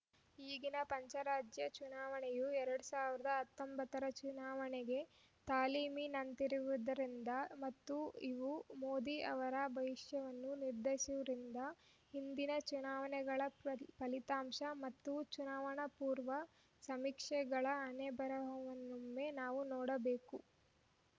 ಈಗಿನ ಪಂಚರಾಜ್ಯ ಚುನಾವಣೆಯು ಎರಡ್ ಸಾವಿರದ ಹತ್ತೊಂಬತ್ತರ ಚುನಾವಣೆಗೆ ತಾಲೀಮಿನಂತಿರುವುದರಿಂದ ಮತ್ತು ಇವು ಮೋದಿ ಅವರ ಭವಿಷ್ಯವನ್ನು ನಿರ್ಧಸುವುದರಿಂದ ಹಿಂದಿನ ಚುನಾವಣೆಗಳ ಫಲಿತಾಂಶ ಮತ್ತು ಚುನಾವಣಾ ಪೂರ್ವ ಸಮೀಕ್ಷೆಗಳ ಹಣೆಬರಹವನ್ನೊಮ್ಮೆ ನಾವು ನೋಡಬೇಕು